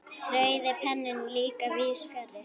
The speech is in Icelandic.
Rauði penninn líka víðs fjarri.